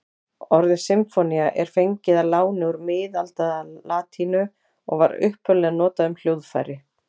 Orðið sinfónía er fengið að láni úr miðaldalatínu og var upphaflega notað um hljóðfæri.